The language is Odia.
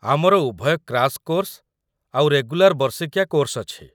ଆମର ଉଭୟ କ୍ରାଶ୍ କୋର୍ସ ଆଉ ରେଗୁଲାର ବର୍ଷିକିଆ କୋର୍ସ ଅଛି ।